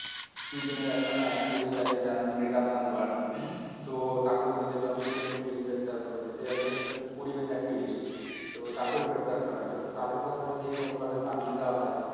সুইড্রেনের একখানা activist আছে যার নাম গ্রেটা থানবার্গ তো তাকেও তো দেখলাম সুইডেন police গ্রেপ্তার করেছে সে একজন পরিবেশ activist তো তাকেও গ্রেপ্তার করা হয়েছে। তো তাদের কথা যদি এইরকম ভাবে দাবিয়ে দেওয়া হয়